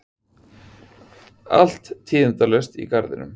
Allt tíðindalaust í garðinum.